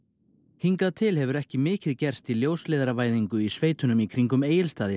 hingað til hefur ekki mikið gerst í ljósleiðaravæðingu í sveitunum í kringum Egilsstaði